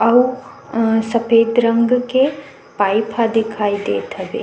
अऊ सफेद रंग के पाइप ह दिखाई देत हवे।